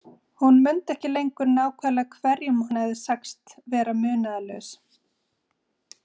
Hún mundi ekki lengur nákvæmlega hverjum hún hafði sagst vera munaðarlaus.